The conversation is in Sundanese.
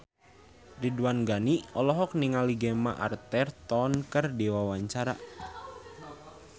Ridwan Ghani olohok ningali Gemma Arterton keur diwawancara